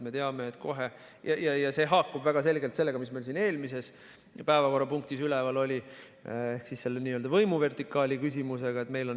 See haakub väga selgelt sellega, mis eelmises päevakorrapunktis üleval oli, ehk võimuvertikaali küsimusega.